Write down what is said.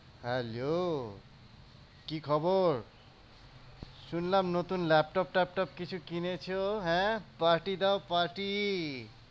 Hello কি খবর? শুনলাম নতুন ল্যাপটপ ট্যাপটপ কিছু কিনেছ? হ্যাঁ party দাও party